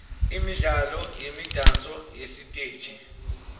imidlalo nemidanso yesiteji